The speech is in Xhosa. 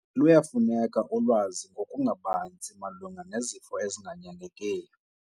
Luyafuneka ulwazi ngokubanzi malunga nezifo ezinganyangekiyo.